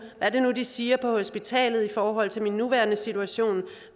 er de siger på hospitalet i forhold til min nuværende situation